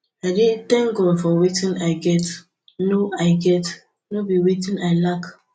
i dey tank god for wetin i get no i get no be wetin i lack